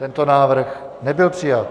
Tento návrh nebyl přijat.